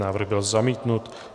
Návrh byl zamítnut.